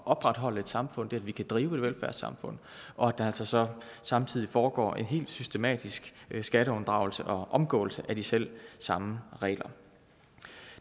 opretholde et samfund det at vi kan drive et velfærdssamfund og at der så så samtidig foregår en helt systematisk skatteunddragelse og omgåelse af de selv samme regler